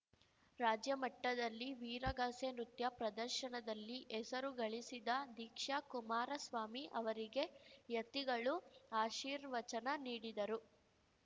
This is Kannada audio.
ರಾಜ್ಯಮಟ್ಟದಲ್ಲಿ ವೀರಗಾಸೆ ನೃತ್ಯ ಪ್ರದರ್ಶನದಲ್ಲಿ ಹೆಸರು ಗಳಿಸಿದ ದೀಕ್ಷಾ ಕುಮಾರಸ್ವಾಮಿ ಅವರಿಗೆ ಯತಿಗಳು ಆಶೀರ್ವಚನ ನೀಡಿದರು